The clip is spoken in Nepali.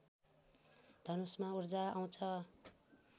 धनुषमा ऊर्जा आउँछ